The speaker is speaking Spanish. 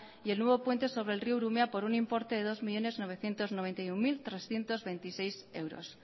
y el nuevo puente sobre el río urumea por un importe de dos millónes novecientos noventa y uno mil trescientos veintiséis euros